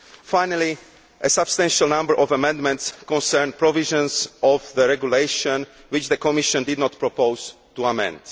Finally, a substantial number of amendments concern provisions of the regulation which the Commission did not propose to amend.